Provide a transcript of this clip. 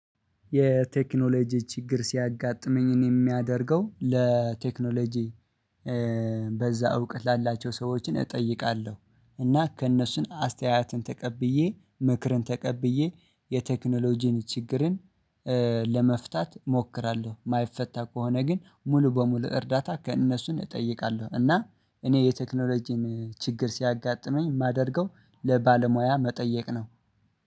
የቴክኖሎጂ ችግር ሲያጋጥመኝን እኔ የማያደርገው ለቴክኖሎጂ በዛ እውቀት ላላቸው ሰዎችን እጠይቃለሁ እና ከእነሱም አስተያየትን ተቀብዬ ምክርን ተቀብዬ የቴክኖሎጂን ችግርን ለመፍታት እሞክራለሁ የማይፈታ ከሆነ ግን ሙሉ በሙሉ እርዳታ ከእነሱን እጠይቃለሁ እና እኔ የቴክኖሎጂን ችግር ሲያጋጥመኝ የማደርገው ለባለሙያ መጠየቅ ነው።